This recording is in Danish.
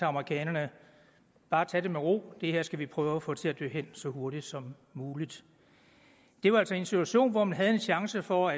amerikanerne bare tage det med ro det her skal vi prøve at få til at dø hen så hurtigt som muligt det var altså i en situation hvor man havde en chance for